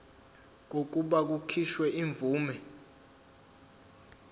kokuba kukhishwe imvume